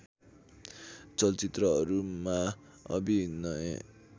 चलचित्रहरूमा अभिनय